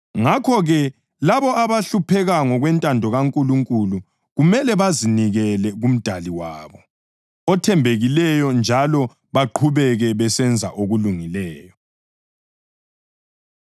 Ngakho-ke, labo abahlupheka ngokwentando kaNkulunkulu kumele bazinikele kuMdali wabo othembekileyo njalo baqhubeke besenza okulungileyo.